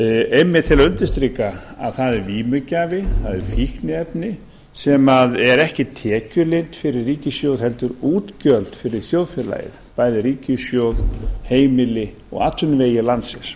einmitt til að undirstrika að það er vímugjafi það er fíkniefni sem er ekki tekjulind fyrir ríkissjóð heldur útgjöld fyrir þjóðfélagið bæði ríkissjóð heimili og atvinnuvegi landsins